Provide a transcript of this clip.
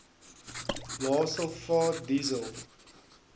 lae sulfaat diesel